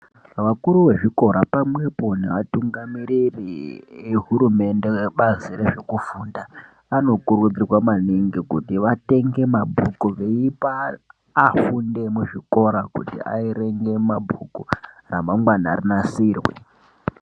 Vakuru vezvikora pamwepo nevatungamiriri vehurumende vebazi rezvekufunda, vanokurudzirwa manhingi kuti vatenge mabhuku veipa afundi muzvikora kuti averenge mabhuku remangwana reinasirwe.